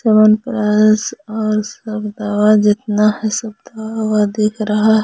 च्यवनप्राश और सब दवा जितना है सब दवा दिख रहा है।